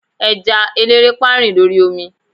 eja elerepa rin l'ori omi